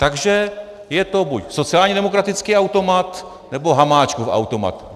Takže je to buď sociálně demokratický automat, nebo Hamáčkův automat.